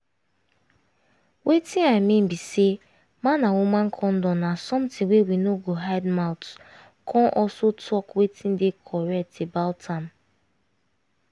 wetin i mean be say man and woman condom na something wey we no go hide mouth come also talk wetin dey correct about am